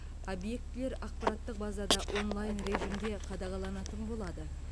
объектілер ақпараттық базада онлайн режимде қадағаланатын болады